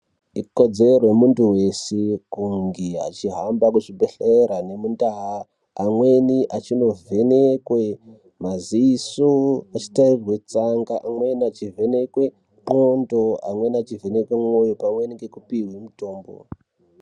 Ikodzero yemuntu weshe kunge achihamba kuchibhehlera nemundaa. Amweni achino vhenekwe maziso achi tarirwe tsanga umweni achi vhenekwe qondo, amweni achivhenekwe mwoyo pamweni nge kupihwe mutombo.